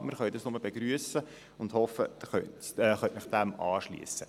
Wir können dies nur begrüssen, und ich hoffe, Sie können sich dem anschliessen.